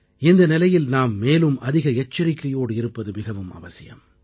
இந்த நிலையில் நாம் மேலும் அதிக எச்சரிக்கையோடு இருப்பது மிகவும் அவசியம்